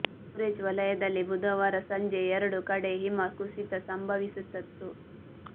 ಗುರೆಜ್ ವಲಯದಲ್ಲಿ ಬುಧವಾರ ಸಂಜೆ ಎರಡು ಕಡೆ ಹಿಮ ಕುಸಿತ ಸಂಭವಿಸತ್ತು